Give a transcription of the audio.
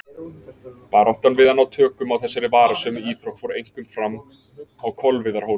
Baráttan við að ná tökum á þessari varasömu íþrótt fór einkum fram á Kolviðarhóli.